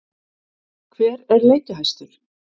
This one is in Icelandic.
Hver er leikjahæstur?